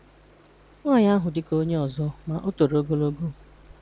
Nwaanyị ahụ dị ka onye ọzọ, ma ọ toro ogologo.